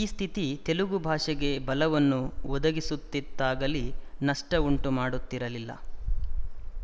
ಈ ಸ್ಥಿತಿ ತೆಲುಗು ಭಾಷೆಗೆ ಬಲವನ್ನು ಒದಗಿಸುತ್ತಿತ್ತಾಗಲಿ ನಷ್ಟವುಂಟುಮಾಡುತ್ತಿರಲಿಲ್ಲ